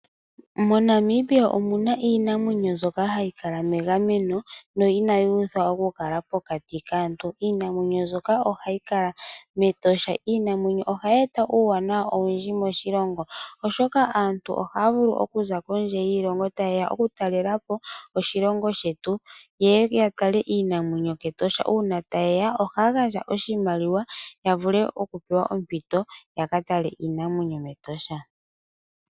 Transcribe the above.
MoNamibia omuna iinamwenyo mbyoka hayi kala megameno m, na inayi uthwa okukala pokati kaantu. Iinamwenyo mbyoka ohayi kala mEtosha. Iinamwenyo ohayi eta uuwanawa owundji moshilongo oshoka aantu ohaya vulu okuza kondje yiilongo tayeya okutalelapo oshilongo shetu. Ye ye ya tale iinamwenyo kEtosha, uuna taye ya ohaya gandja oshimaliwa ya vule okuoewa ompito ya ka tale iinamwenyo mEtosha.